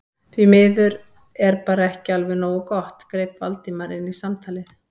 Því miður er bara ekki alveg nógu gott- greip Valdimar inn í samtalið.